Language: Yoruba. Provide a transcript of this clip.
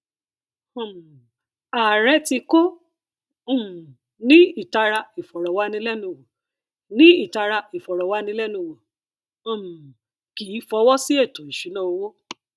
um ààrẹ tí kò um ní ìtara ìfọrọwánilẹnuwò ní ìtara ìfọrọwánilẹnuwò um kìí fọwọ sí ètò ìṣúnná owó